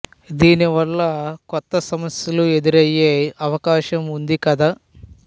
దీని వల్ల కొత్త సమస్యలు ఎదురయే అవకాశం ఉంది కదా